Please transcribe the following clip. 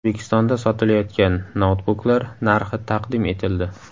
O‘zbekistonda sotilayotgan noutbuklar narxi taqdim etildi.